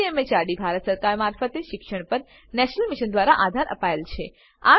જેને ICT MHRD Bharat સરકાર મારફતે શિક્ષણ પર નેશનલ મિશન દ્વારા આધાર અપાયેલ છે